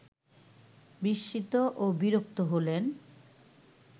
বিস্মিত ও বিরক্ত হলেন